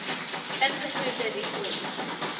ingevoerde ru olie